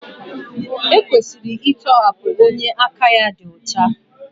E kwesịrị ịtọhapụ onye aka ya dị ọcha.